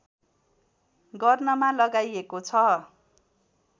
गर्नमा लगाइएको छ